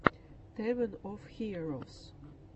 тэвэн оф хиэровс